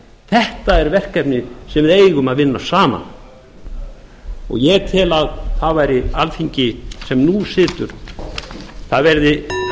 þetta er verkefni sem við eigum að vinna saman ég tel að það yrði munað eftir því